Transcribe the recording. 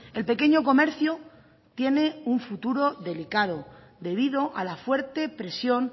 el pequeño comercio tiene un futuro delicado debido a la fuerte presión